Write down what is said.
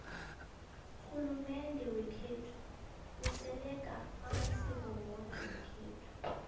rhulumende wekhethu usekela amasiko woke wekhayapha